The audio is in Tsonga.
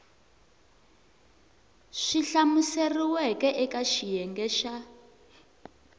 swi hlamuseriweke eka xiyenge xa